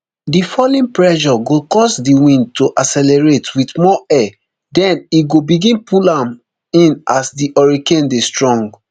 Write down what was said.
di falling pressure go cause di winds to accelerate wit more air den e go begin pull am in as di hurricane dey strong